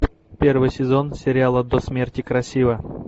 первый сезон сериала до смерти красива